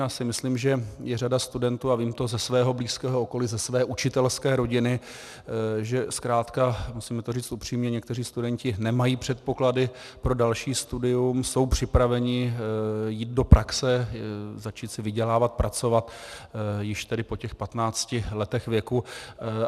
Já si myslím, že je řada studentů, a vím to ze svého blízkého okolí, ze své učitelské rodiny, že zkrátka, musíme to říct upřímně, někteří studenti nemají předpoklady pro další studium, jsou připraveni jít do praxe, začít si vydělávat, pracovat již tedy po těch 15 letech věku.